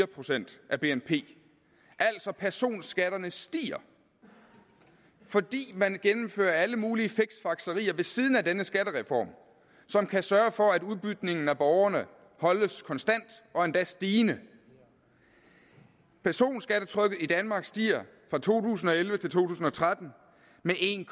procent af bnp altså personskatterne stiger fordi man gennemfører alle mulige fiksfakserier ved siden af denne skattereform som kan sørge for at udbytningen af borgerne holdes konstant og endda stigende personskattetrykket i danmark stiger fra to tusind og elleve til to tusind og tretten med en